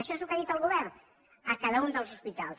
això és el que ha dit el govern a cada un dels hospitals